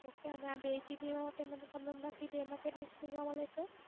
Okay, અને આ બે GB માટે મને તમે હમણાં કીધું એમાં કેટલી Speed માં મળે છે?